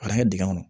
A bɛ kɛ dingɛ kɔnɔ